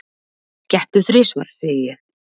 Gettu þrisvar, segi ég.